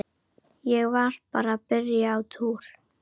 Ég var bara að byrja á túr.